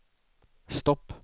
stopp